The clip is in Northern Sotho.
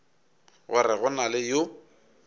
gore go na le yo